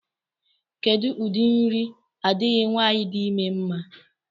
Kedụ ụdị nri adịghị nwaanyị di ime mma?